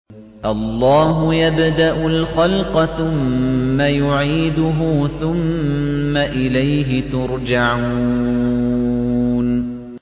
اللَّهُ يَبْدَأُ الْخَلْقَ ثُمَّ يُعِيدُهُ ثُمَّ إِلَيْهِ تُرْجَعُونَ